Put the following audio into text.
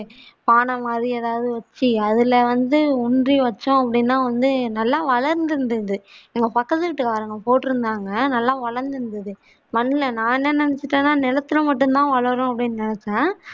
பாண மாதிரி எதாவது வெச்சி அதுல வந்து ஊன்றி வெச்சா அப்பிடின்னா வந்து நல்லா வளர்ந்திருந்தது எங்க பக்கத்து வீட்டு காரங்க போட்டிருந்தாங்க நல்லா வளர்ந்திருந்தது மண்ல நானே நினைச்ச நிலத்தில மட்டும் தான் வளரும் அப்படின்னு நினைச்ச